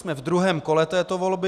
Jsme v druhém kole této volby.